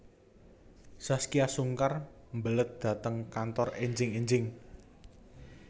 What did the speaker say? Zaskia Sungkar mlebet dhateng kantor enjing enjing